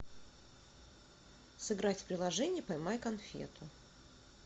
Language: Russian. сыграть в приложение поймай конфету